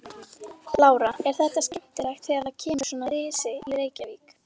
Lára: Er þetta skemmtilegt þegar kemur svona risi í Reykjavík?